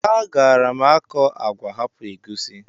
Agaara m akọ agwa hapụ egusi?